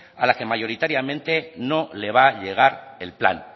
a la que mayoritariamente no le va a llegar el plan